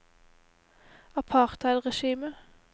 apartheidregimet